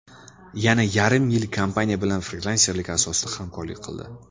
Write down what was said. Yana yarim yil kompaniya bilan frilanserlik asosida hamkorlik qildi.